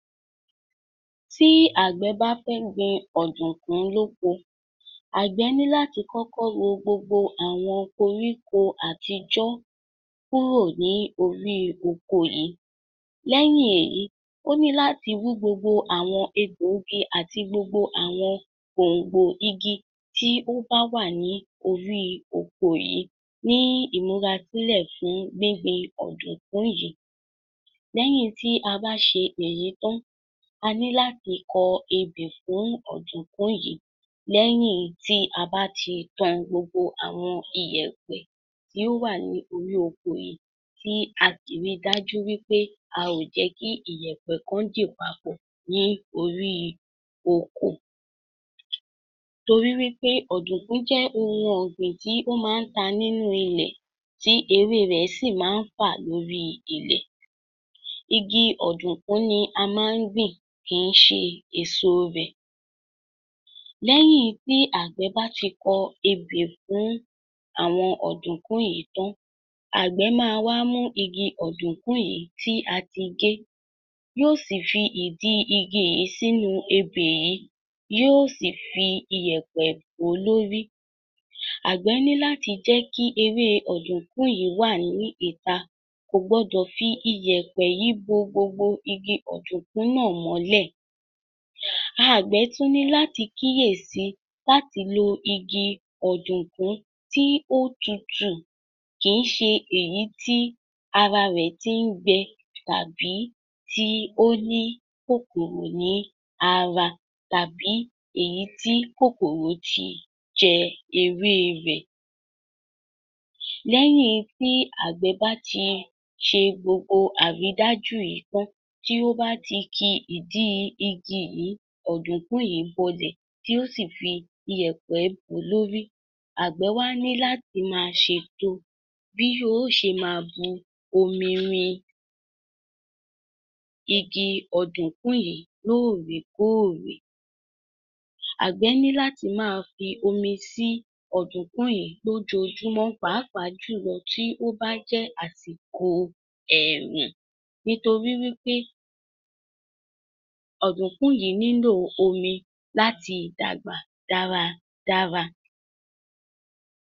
Tí àgbẹ̀ bá fẹ́ gbin ọ̀dùnkún lóko, àgbè ní láti kọ́kọ́ ro gbogbo àwọn koríko àtijọ́ kúrò ní orí oko yìí. Lẹ́yìn èyí, ó ní láti wú gbogbo àwọn egbòogi àti gbogbo àwọn gbòngbò igi tí ó bá wà ní oríi oko yìí ní ìmúrasílẹ̀ fún gbígbin ọ̀dùnkún yìí. Lẹ́yìn tí a bá ṣe èyí tán, a ní láti kọ ebè fún ọ̀dùnkún yìí, lẹ́yìn tí a bá ti tan gbogbo àwọn iyẹ̀pẹ̀ tí ó wà ní orí oko yìí, tí a sì ríi dájú wí pé a ò jẹ́ kí iyẹ̀pẹ̀ kan dì papọ̀ ní orí oko, torí wí pé ọ̀dùnkún jẹ́ ohun ọ̀gbìn tí ó máa ń ta nínú ilẹ̀, tí ewé rẹ̀ sì máa ń fà lóríi ilẹ̀. Ígi ọ̀dùnkún ni a máa ń gbìn, kìí ṣe èso rẹ̀. Lẹ́yìn tí àgbẹ̀ bá ti kọ ebè fún àwọn ọ̀dùnkún yìí tán, àgbẹ̀ máa wá mú igi ọ̀dùnkún yìí tí a ti gé, yóò sì fi ìdí igi yìí sínú ebè yìí, yóò sì fi iyẹ̀pẹ̀ bò ó lórí. Àgbẹ̀ ní láti jẹ́ kí ewé ọ̀dùnkún yìí wà ní ìta. Kò gbọdọ̀ fi iyẹ̀pẹ̀ yìí bo gbogbo igi ọ̀dùnkún náà mọ́lẹ̀. Àgbẹ̀ tún ní láti kíyesí láti lo igi ọ̀dùnkún tí ó tutù. Kìí ṣe èyí tí ara rẹ̀ ti ń gbẹ tàbí tí ó ní kòkòrò ní ara, tàbí èyí tí kòkòrò ti jẹ ewé rẹ̀. Lẹ́yìn tí àgbẹ̀ bá ti ṣe gbogbo àrídájú yìí tán, tí ó bá ti ki ìdí igi yìí, ọ̀dùnkún yìí bọlẹ̀, tí ó sì fi iyẹ̀pẹ̀ bò ó lórí, àgbẹ̀ wá ní láti máa ṣètò bí yóò ṣe máa bu omi rin igi ọ̀dùnkún yìí lóòrèkóòrè. Àgbẹ̀ ní láti máa fi omi sí ọ̀dùnkún yìí lójoojúmọ́, pàápàá jùlọ tí ó bá jẹ́ àsìkò ẹ̀ẹ̀rùn, níorí wí pé ọ̀dùnkún yìí nílòo omi láti dàgbà dára dára.